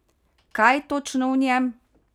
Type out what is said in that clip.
Kaj točno v njem?